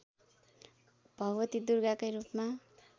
भगवती दुर्गाकै रूपमा